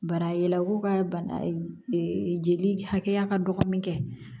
Bara yala ko ka bana jeli hakɛya ka dɔgɔ min kɛ